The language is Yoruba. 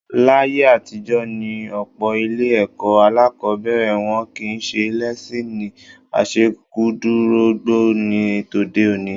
Láyé àtijọ́ ní ọ̀pọ̀ ilé-ẹ̀kọ́ alákọ̀ọ́bẹ̀rẹ̀, wọn kì í ṣe lẹ́síìnì àṣekúdorógbó bí tòde òní.